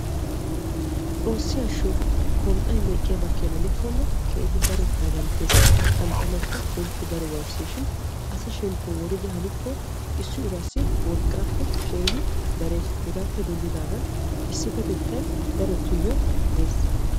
Xoossi ashsho kon"ay meqqiyaaba keena gidikkonne keehi daro daganttees. qanxxanawukka keehippe daro waayisses shin asa shemppo woridi issi urassi wolqqaappe keehi darees. hegaappe denddidaagn issipetettay darotuyoo de'ees.